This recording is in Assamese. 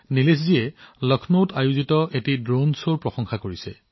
নিলেশজীয়ে লক্ষ্ণৌত অনুষ্ঠিত হোৱা এক অনন্য ড্ৰোণ শ্বৰ যথেষ্ট প্ৰশংসা কৰিছে